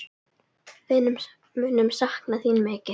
Við munum sakna þín mikið.